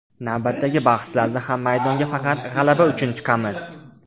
Navbatdagi bahslarda ham maydonga faqat g‘alaba uchun chiqamiz.